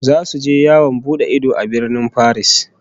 Zasu je yawon bude idanu a Birnin Faris